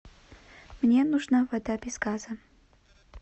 мне нужна вода без газа